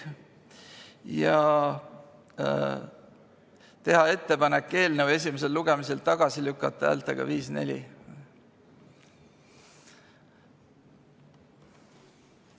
Kolmandaks, teha ettepanek eelnõu esimesel lugemisel tagasi lükata häältega 5 : 4.